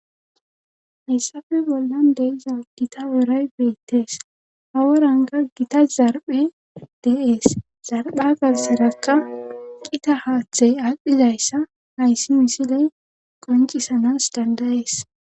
Hayssafe bollan deiza gita oray beettees hawa ranga gita zarphe de7ees zarpha gaserakka qita haaththey aadhpdhizayssa hayssi misiley qoncisanas dandayees.